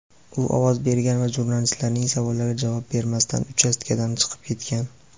U ovoz bergan va jurnalistlarning savollariga javob bermasdan uchastkadan chiqib ketgan.